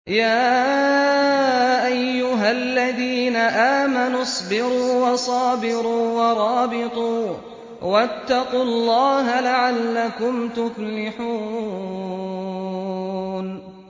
يَا أَيُّهَا الَّذِينَ آمَنُوا اصْبِرُوا وَصَابِرُوا وَرَابِطُوا وَاتَّقُوا اللَّهَ لَعَلَّكُمْ تُفْلِحُونَ